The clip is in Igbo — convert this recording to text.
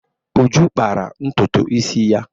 Uju kpara ntutu isi ya.